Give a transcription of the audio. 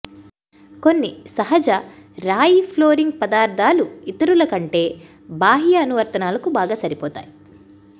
కొన్ని సహజ రాయి ఫ్లోరింగ్ పదార్థాలు ఇతరులు కంటే బాహ్య అనువర్తనాలకు బాగా సరిపోతాయి